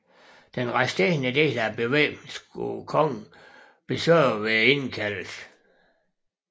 Den resterende del af bevæbningen skulle kongen besørge ved indkaldelsen